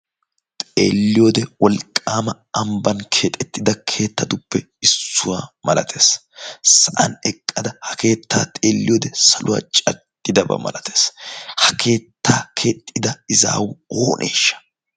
xeelliyoode wolqqaama ambban keexettida keettatuppe issuwaa malatees. sa7an eqqada ha keettaa xeelliyoode saluwaa cattidabaa malatees. ha keettaa keexxida izaau ooneeshsha?